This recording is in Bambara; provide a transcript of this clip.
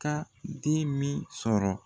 ka den min sɔrɔ